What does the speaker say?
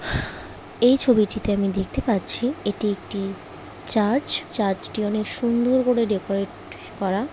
এই ছবিটিতে আমি দেখতে পাচ্ছি এটি একটি চার্চ চার্চটি অনেক সুন্দর করে ডেকোরেট করা ।